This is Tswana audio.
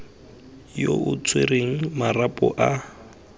yo o tshwereng marapo a